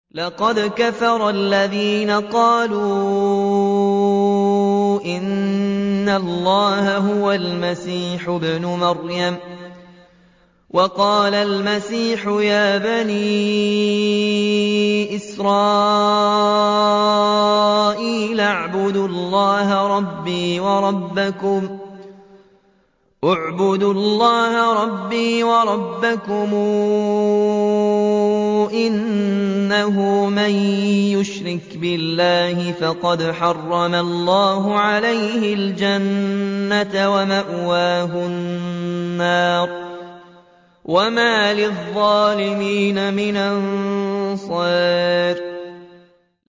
لَقَدْ كَفَرَ الَّذِينَ قَالُوا إِنَّ اللَّهَ هُوَ الْمَسِيحُ ابْنُ مَرْيَمَ ۖ وَقَالَ الْمَسِيحُ يَا بَنِي إِسْرَائِيلَ اعْبُدُوا اللَّهَ رَبِّي وَرَبَّكُمْ ۖ إِنَّهُ مَن يُشْرِكْ بِاللَّهِ فَقَدْ حَرَّمَ اللَّهُ عَلَيْهِ الْجَنَّةَ وَمَأْوَاهُ النَّارُ ۖ وَمَا لِلظَّالِمِينَ مِنْ أَنصَارٍ